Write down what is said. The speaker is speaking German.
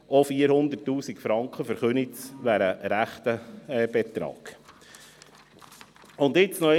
400 000 Franken wären für Köniz ein rechter Brocken.